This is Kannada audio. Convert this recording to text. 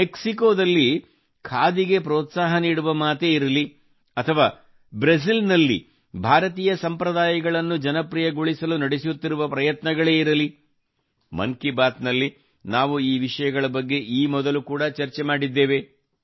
ಮೆಕ್ಸಿಕೊ ದಲ್ಲಿ ಖಾದಿಗೆ ಪ್ರೋತ್ಸಾಹ ನೀಡುವ ಮಾತೇ ಇರಲಿ ಅಥವಾ ಬ್ರೆಜಿಲ್ ನಲ್ಲಿ ಭಾರತೀಯ ಸಂಪ್ರದಾಯಗಳನ್ನು ಜನಪ್ರಿಯಗೊಳಿಸಲು ನಡೆಸುತ್ತಿರುವ ಪ್ರಯತ್ನಗಳೇ ಇರಲಿ ಮನ್ ಕಿ ಬಾತ್ ನಲ್ಲಿ ನಾವು ಈ ವಿಷಯಗಳ ಬಗ್ಗೆ ಈ ಮೊದಲು ಕೂಡಾ ಚರ್ಚೆ ಮಾಡಿದ್ದೇವೆ